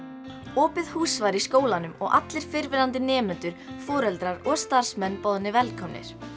opið hús var í skólanum og allir fyrrverandi nemendur foreldrar og starfsmenn boðnir velkomnir